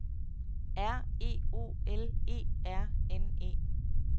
R E O L E R N E